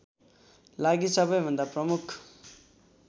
लागि सबैभन्दा प्रमुख